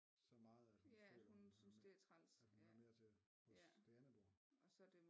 Så meget at hun føler hun har at hun hører mere til hos det andet bord